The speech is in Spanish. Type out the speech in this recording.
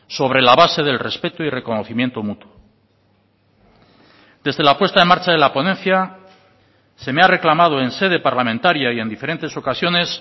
sobre la base del respeto y reconocimiento mutuo desde la puesta en marcha de la ponencia se me ha reclamado en sede parlamentaria y en diferentes ocasiones